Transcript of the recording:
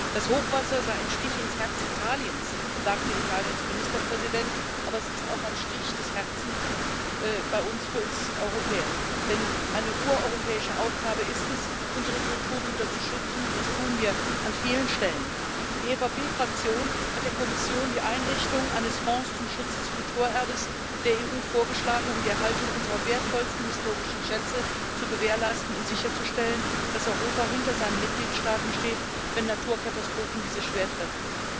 Das Hochwasser sei ein Stich ins Herz Italiens, sagte Italiens Ministerpräsident, aber es ist auch ein Stich ins Herz für uns Europäer, denn eine ureuropäische Aufgabe ist es, unsere Kulturgüter zu schützen, und das tun wir an vielen Stellen. Die EVP Fraktion hat der Kommission die Einrichtung eines Fonds zum Schutz des Kulturerbes der EU vorgeschlagen, um die Erhaltung unserer wertvollsten historischen Schätze zu gewährleisten und sicherzustellen, dass Europa hinter seinen Mitgliedstaaten steht, wenn Naturkatastrophen diese schwer treffen.